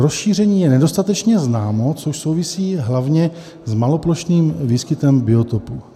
Rozšíření je nedostatečně známo, což souvisí hlavně s maloplošným výskytem biotopu.